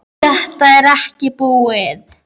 Þetta er ekki búið.